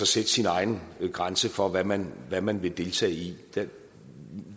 sætte sin egen grænse for hvad man hvad man vil deltage i det